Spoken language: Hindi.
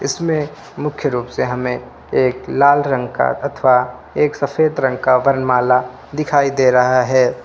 इसमें मुख्य रूप से हमें एक लाल रंग का अथवा एक सफेद रंग का वरमाला दिखाई दे रहा है।